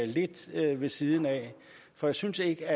lidt ved siden af for jeg synes ikke